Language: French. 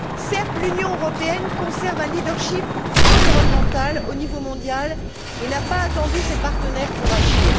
Certes, l'Union européenne conserve un leadership environnemental au niveau mondial et n'a pas attendu ses partenaires pour agir.